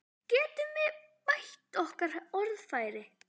Getum við bætt okkar orðfæri?